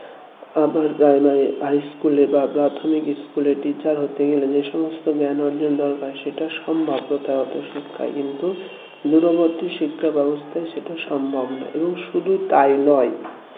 upper primary high school এ প্রাথমিক school এ teacher হতে গেলে যে সমস্ত জ্ঞান অর্জনের দরকার সেটা সম্ভাব্যতা হয়তো শিক্ষায় কিন্তু দূরবর্তী শিক্ষা ব্যবস্থায় সেটা সম্ভব না এবং শুধু তাই নয়